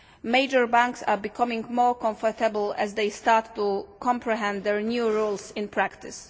Major banks are becoming more comfortable as they start to comprehend the new rules in practice.